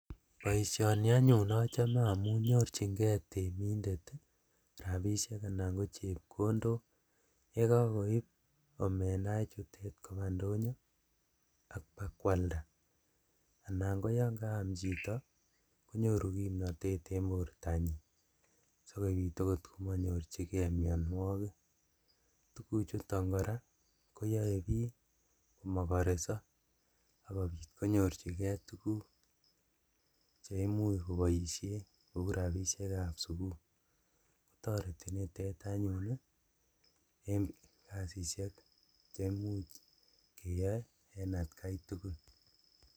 Boisioni anyun ochome amun nyorjingee temindet rabisiek anan kochepkondok, yekokoib omenaa ichutet kobaa indonyo ak bakwalda anan koyon kaam chito konyoru kumnotet en bortanyin sikobit okot komonyorjigee mionuokik, tuguchuton koraa koyoe bik komokoreso akobit konyorjigee tuguk cheimuch koboisien kou rabisiekab sukul toreti anyun nitet en kasisiek cheimuch iyoe en atkaitugul.